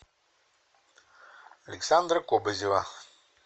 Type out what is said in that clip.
александра кобызева